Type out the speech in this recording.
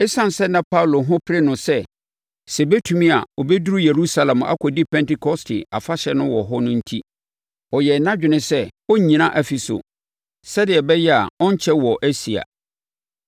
Esiane sɛ na Paulo ho pere no sɛ, sɛ ɛbɛtumi a ɔbɛduru Yerusalem akɔdi Pentekoste Afahyɛ no wɔ hɔ no enti, ɔyɛɛ nʼadwene sɛ ɔrennyina Efeso, sɛdeɛ ɛbɛyɛ a ɔrenkyɛ wɔ Asia.